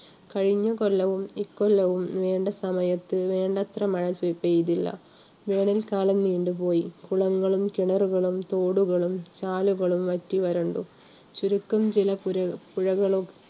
കഴിഞ്ഞകൊല്ലവും, ഇക്കൊല്ലവും വേണ്ട സമയത്ത് വേണ്ടത്ര മഴ കിട്ടിയിട്ടില്ല. വേനൽക്കാലം നീണ്ടു പോയി. കുളങ്ങളും, കിണറുകളും, തോടുകളും, ചാലുകളും, വറ്റി വരണ്ടു. ചുരുക്കം ചില പുഴകളും